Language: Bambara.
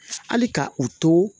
Hali ka u to